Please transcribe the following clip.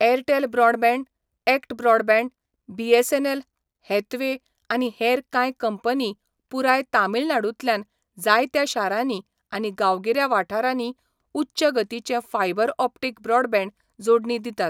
Airtel broadband, ACT broadband, BSNL, Hathway, आनी हेर कांय कंपनीं पुराय तमिळनाडूंतल्या जायत्या शारांनी आनी गांवगिऱ्या वाठारांनी उच्च गतीचें फायबर ऑप्टिक ब्रॉडबँड जोडणी दितात.